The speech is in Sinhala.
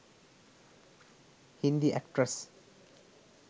hindi actress